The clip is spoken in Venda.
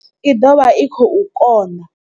I ḓo vha i khou kona.